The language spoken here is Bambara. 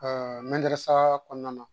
kɔnɔna na